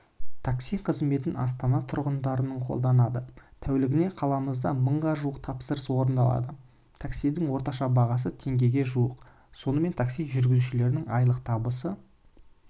такси қызметін астана тұрғындарының қолданады тәулігіне қаламызда мыңға жуық тапсырыс орындалады таксидің орташа бағасы теңгеге жуық сонымен такси жүргізушілерінің айлық табысы